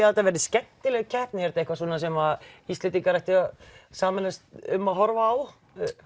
að þetta verði skemmtileg keppni er þetta eitthvað sem Íslendingar ættu að sameinast um að horfa á